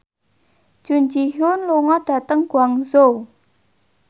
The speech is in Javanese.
Jun Ji Hyun lunga dhateng Guangzhou